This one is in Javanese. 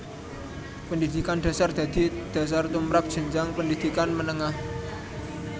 Pendhidhikan dhasar dadi dhasar tumrap jenjang pendhidhikan menengah